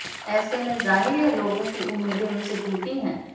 ऐसे में जाहिर है लोगों की उम्मीदें उनसे टूटी हैं